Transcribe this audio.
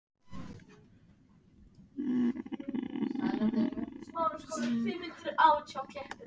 Samkvæmt sjúkraskrám þá voru einkenni hans meðal annars niðurgangur og uppköst auk hitafloga.